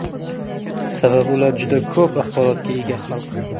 Sababi ular juda ko‘p axborotga ega xalq.